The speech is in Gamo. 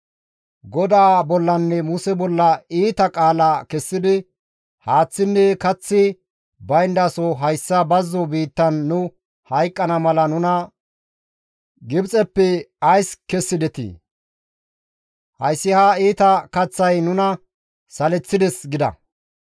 GODAA bollanne Muse bolla iita qaala kessidi, «Haaththinne kaththi bayndaso hayssa bazzo biittan nu hayqqana mala nuna Gibxeppe ays kessidetii? Hayssi ha iita kaththay nuna saleththides» gida.